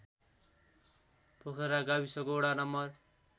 पोखरा गाविसको वडा नं